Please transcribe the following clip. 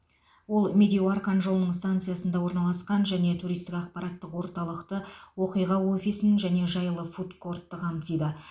ол медеу арқан жолының станциясында орналасқан және туристік ақпараттық орталықты оқиға офисін және жайлы фуд кортты қамтиды